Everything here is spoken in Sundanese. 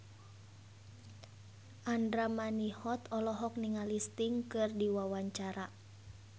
Andra Manihot olohok ningali Sting keur diwawancara